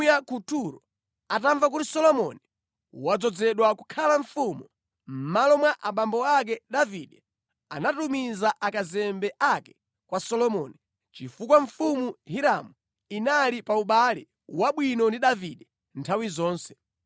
Hiramu mfumu ya ku Turo atamva kuti Solomoni wadzozedwa kukhala mfumu mʼmalo mwa abambo ake Davide, anatumiza akazembe ake kwa Solomoni, chifukwa mfumu Hiramu inali pa ubale wabwino ndi Davide nthawi zonse.